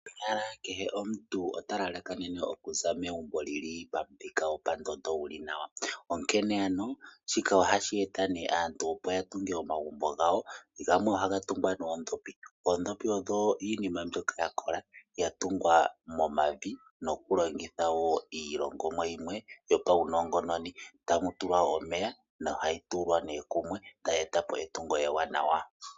Konyala kehe omuntu ota lalakanene okuza megumb lili pamuthika gwopandondo guli nawa ,onkene ano shika ohashi eta aantu opo yatunge omagumbo gawo . Gamwe ohaga tungwa noondhopi, oondhopi odho iinima mbyoka yakola yatungwa momavi loku longitha woo iilongomwa yimwe yo paunongononi, tamu tulwa omeya nohayi tulwa nee okumwe tayi etapo etungo ewanawa.